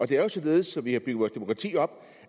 det er jo således som vi har bygget vores demokrati op